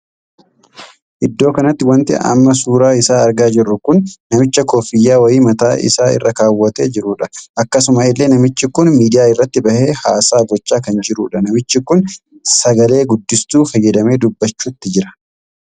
Iddoo kanatti wanti amma suuraa isaa argaa jirru kun namicha koffiyyaa wayii mataa isaa irra kaawwatee jirudha. akkasuma illee namichi kun miidiyaa irratti bahe haasaa gochaa kan jirudha. namichi kun sagalee guddistuu fayyadamee dubbachutti jira.